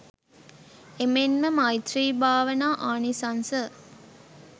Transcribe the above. එමෙන්ම මෛත්‍රී භාවනා ආනිසංස